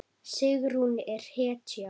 Sigrún er hetja!